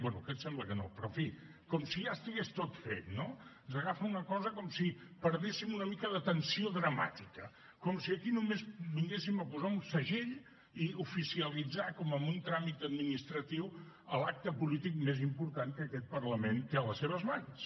bé en aquest sembla que no però en fi com si ja estigués tot fet no ens agafa una cosa com si perdéssim una mica de tensió dramàtica com si aquí només vinguéssim a posar un segell i a oficialitzar com en un tràmit administratiu l’acte polític més important que aquest parlament té a les seves mans